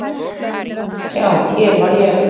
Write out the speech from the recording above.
Já, hér var ég.